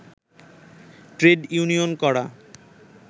trade union করা